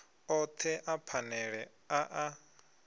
othe a phanele a a